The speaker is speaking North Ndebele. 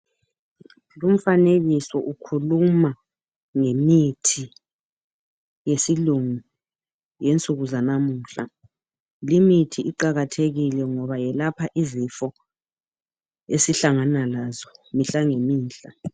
Lumfanekiso ukhuluma ngemithi yesilungu yensuku zanamuhla. Limithi iqakathekile ngoba yelapha izifo esihlangana lazo mihla ngemihla.